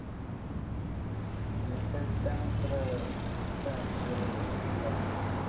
आणि त्यानंतर चहा दूध वगेरे घेतल तर चालेल का